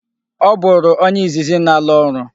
Ọ bụrụ onye izizi na-ala orụ.